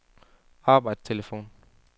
arbejdstelefon